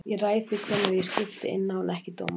Ég ræð því hvenær ég skipti inná en ekki dómarinn.